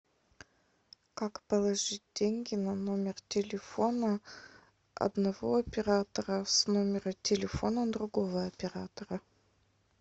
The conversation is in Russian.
как положить деньги на номер телефона одного оператора с номера телефона другого оператора